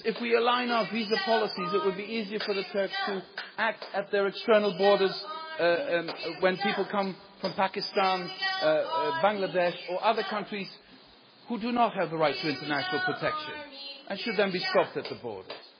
Turks? Because if we aligned our visa policies, it would be easier for the Turks to act at their external borders when people come from Pakistan, Bangladesh or other countries who do not have the right to international protection and should then be stopped at the